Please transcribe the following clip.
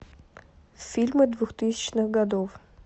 фильмы двухтысячных годов